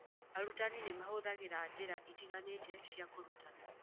Arutani nĩ mahũthagĩra njĩra itiganĩte cia kũrutana.